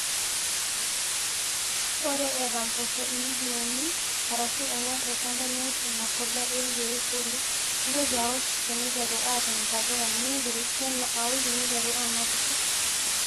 ore eeta mpoosho iwikii uni arashu ong'wan tolchamba niosh ina polea nJi foliar nintoki aosh teneiteru aatum intapuka niing'il tena aosh teneiterru aanapisho